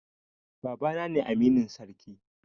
Baba na ne aminin sarki